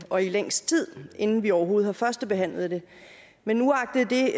og i længst tid inden vi overhovedet har førstebehandlet det men uagtet det